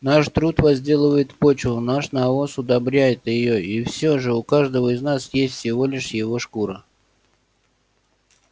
наш труд возделывает почву наш навоз удобряет её и всё же у каждого из нас есть всего лишь его шкура